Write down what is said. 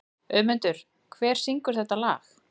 Auðmundur, hver syngur þetta lag?